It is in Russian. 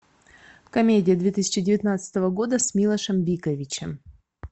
комедия две тысячи девятнадцатого года с милошем биковичем